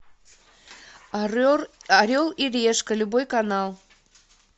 орел и решка любой канал